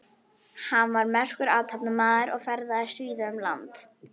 Hann var merkur athafnamaður og ferðaðist víða um land.